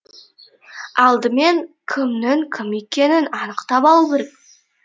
алдымен кімнің кім екенін анықтап алу керек